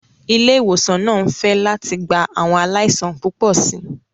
Ilé ìwòsàn náà ń fẹ̀ láti gba àwọn aláìsàn púpọ̀ sí i.